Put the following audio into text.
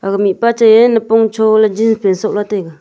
ag mihpa chai ye napong cho jeans pant soh la taiga.